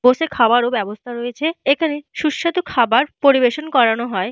বসে খাবার ব্যবস্থা রয়েছে। এইখানে সুস্বাদু খাবার পরিবেশন করানো হয়।